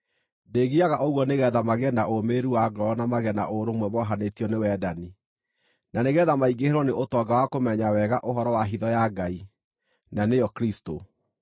Ndĩĩgiaga ũguo nĩgeetha magĩe na ũmĩrĩru wa ngoro na magĩe na ũrũmwe mohanĩtio nĩ wendani, na nĩgeetha maingĩhĩrwo nĩ ũtonga wa kũmenya wega ũhoro wa hitho ya Ngai, na nĩyo Kristũ,